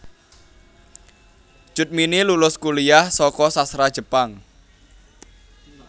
Cut Mini lulus kuliyah saka Sastra Jepang